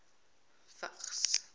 vigs